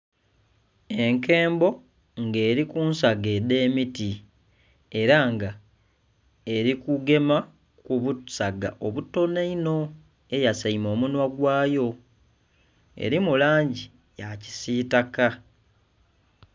Enkembo nga eri kunsaga edhemiti era nga eri kugema kubusaga obutono ino eyasaime omunhwa gwayo erimu langi yakisitaka.